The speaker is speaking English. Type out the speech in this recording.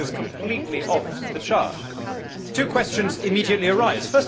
This goes completely off the chart. Two questions immediately arise.